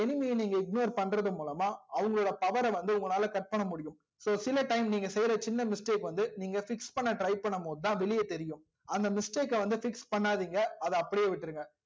so உங்களோட enemy ய நீங்க ignore மூலமா அவங்கலோட power வந்து உங்களால check பண்ண முடியும் so சில time நீங்க செய்ற சின்ன mistake வந்து நீங்க fix பண்ண try பண்ணும் போதுதா வெளிய தெரியும் அந்த mistake க வந்து fix பண்ணாதிங்க அதா அப்டியே விட்ருங்க